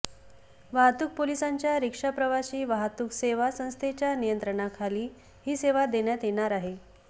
वाहतूक पोलिसांच्या रिक्षा प्रवासी वाहतूक सेवा संस्थेच्या नियंत्रणाखाली ही सेवा देण्यात येणार आहे